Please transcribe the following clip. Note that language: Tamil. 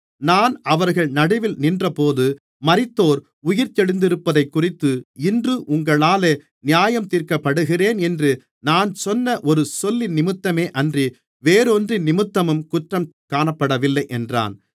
நான் அவர்கள் நடுவில் நின்றபோது மரித்தோர் உயிர்த்தெழுந்திருப்பதைக்குறித்து இன்று உங்களாலே நியாயந்தீர்க்கப்படுகிறேன் என்று நான் சொன்ன ஒரு சொல்லினிமித்தமேயன்றி வேறொன்றினிமித்தமும் குற்றம் காணப்படவில்லை என்றான்